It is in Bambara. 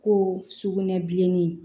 Ko sukunɛbilennin